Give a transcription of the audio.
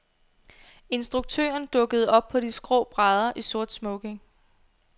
Instruktøren dukkede op på de skrå brædder i sort smoking.